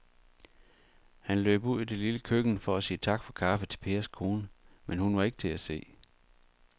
Han løb ud i det lille køkken for at sige tak for kaffe til Pers kone, men hun var ikke til at se.